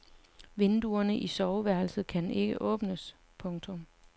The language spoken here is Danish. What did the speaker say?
Vinduerne i soveværelset kan ikke åbnes. punktum